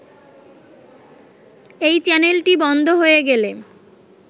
এই চ্যানেলটি বন্ধ হয়ে গেলে